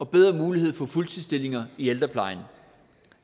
bedre muligheder for fuldtidsstillinger i ældreplejen